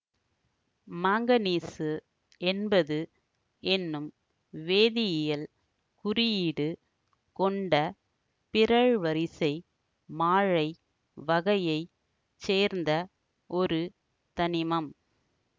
manganese என்பது என்னும் வேதியியல் குறியீடு கொண்ட பிறழ்வரிசை மாழை வகையை சேர்ந்த ஒரு தனிமம்